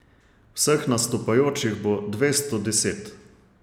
Vseh nastopajočih bo dvesto deset.